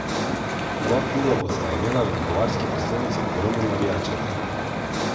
Oba kluba bosta imela v bavarski prestolnici ogromno navijačev.